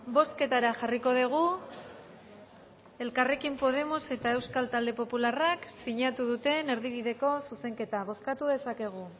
bozketara jarriko dugu elkarrekin podemos eta euskal talde popularrak sinatu duten erdibideko zuzenketa bozkatu dezakegu